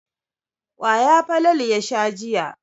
Kwaya Falalu ya sha jiya.